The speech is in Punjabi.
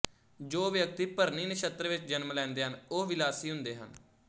ਜੋ ਵਿਅਕਤੀ ਭਰਨੀ ਨਛੱਤਰ ਵਿੱਚ ਜਨਮ ਲੈਂਦੇ ਹਨ ਉਹ ਵਿਲਾਸੀ ਹੁੰਦੇ ਹਨ